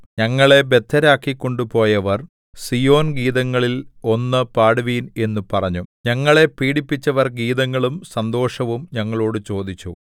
ഞങ്ങളെ ബദ്ധരാക്കിക്കൊണ്ടുപോയവർ സീയോൻഗീതങ്ങളിൽ ഒന്ന് പാടുവിൻ എന്ന് പറഞ്ഞു ഞങ്ങളെ പീഡിപ്പിച്ചവർ ഗീതങ്ങളും സന്തോഷവും ഞങ്ങളോടു ചോദിച്ചു